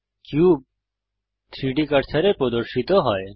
cube 3ডি কার্সারে প্রদর্শিত হয়